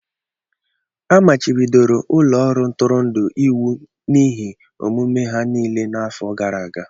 A machibidoro ụlọ ọrụ ntụrụndụ iwu n'ihe omume ha niile n'afọ gara aga.